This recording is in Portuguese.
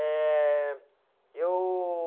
É... Eu...